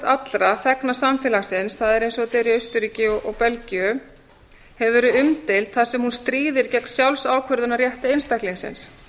allra þegna samfélagsins það er eins og þetta er í austurríki og belgíu hefur verið umdeild þar sem hún stríðir gegn sjálfsákvörðunarrétti einstaklingsins